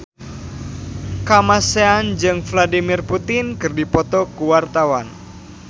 Kamasean jeung Vladimir Putin keur dipoto ku wartawan